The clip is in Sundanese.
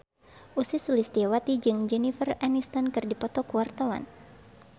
Ussy Sulistyawati jeung Jennifer Aniston keur dipoto ku wartawan